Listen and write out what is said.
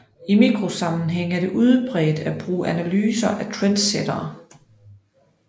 I mikrosammenhæng er det udbredt at bruge analyser af trendsættere